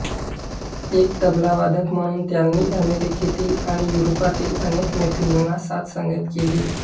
एक तबलावादक म्हणून त्यांनी अमेरिकेतील आणि युरोपातील अनेक मैफलींना साथ संगत केली